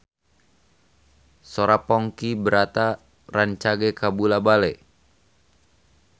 Sora Ponky Brata rancage kabula-bale